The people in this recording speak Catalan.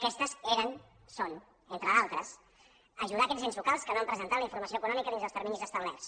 aquestes eren són entre d’altres ajudar aquests ens locals que no han presentat la informació econòmica dins dels terminis establerts